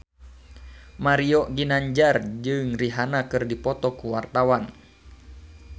Mario Ginanjar jeung Rihanna keur dipoto ku wartawan